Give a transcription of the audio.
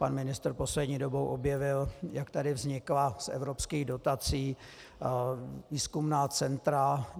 Pan ministr poslední dobou objevil, jak tady vznikla z evropských dotací výzkumná centra.